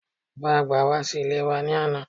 Bàbá-àgbà wá sí ilé wa ní àná